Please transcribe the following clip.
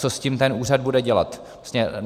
Co s tím ten úřad bude dělat.